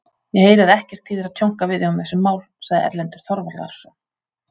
Ég heyri að ekkert þýðir að tjónka við þig um þessi mál, sagði Erlendur Þorvarðarson.